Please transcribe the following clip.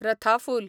रथा फूल